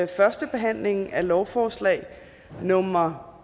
første behandling af lovforslag nummer